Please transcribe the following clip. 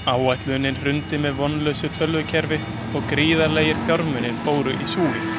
Áætlunin hrundi með vonlausu tölvukerfi og gríðarlegir fjármunir fóru í súginn.